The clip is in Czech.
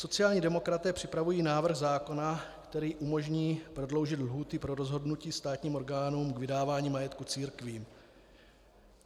Sociální demokraté připravují návrh zákona, který umožní prodloužit lhůty pro rozhodnutí státním orgánům k vydávání majetku církvím.